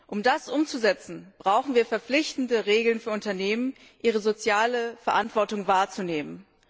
Um das umzusetzen, brauchen wir verpflichtende Regeln für Unternehmen, damit sie ihre soziale Verantwortung wahrnehmen.